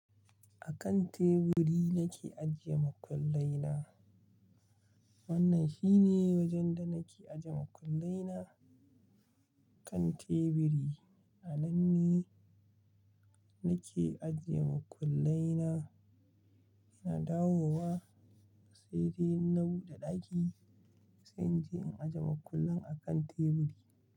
A kan teburi nake ajiye makullai na. Wannan shine wajen da nake ajiye makullai na, kan teburi. A nan ne nake ajiye makullai na, ina dawowa sai dai na buɗe ɗaki sai in je in ajiye makullan a kan teburi.